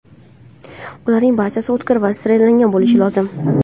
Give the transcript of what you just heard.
Ularning barchasi o‘tkir va sterillangan bo‘lishi lozim.